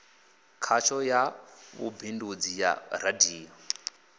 khasho ya vhubindudzi ya radio